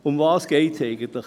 Worum geht es eigentlich?